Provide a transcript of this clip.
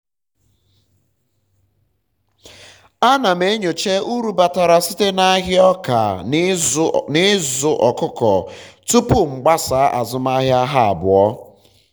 ana m m enyocha uru batara site n'ahịa ọka na ịzụ ọkụkọ tupu m gbasa azụmahịa ha abụọ